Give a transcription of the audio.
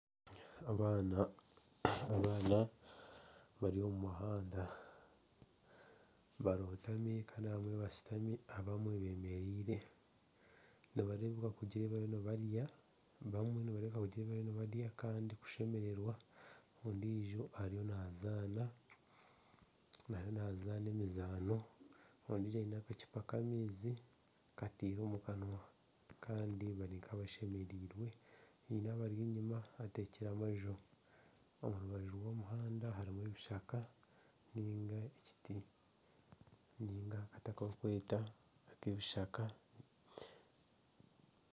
Abaana bari omu muhanda, barotami kandi abamwe bashutami kandi abamwe beemereire kandi nibareebeka kugira ebi bariyo nibarya kandi kushemererwa, ondiijo ariyo naazaana, ariyo naazaana emizaano ondiijo aine akacupa k'amaizi kataire omu kanwa kandi bari nk'abashemereirwe haine abari enyima batekire amaju omu rubaju rw'omuhanda harimu ebishaka ninga ekiti ninga akati aku barikweta ak'ebishaka